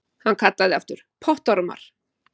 Hann kallaði aftur: Pottormar!